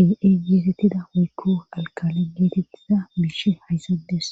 aay geetettida woykko alkale geetettida biishe hayssades